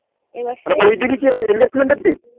এবার শেষ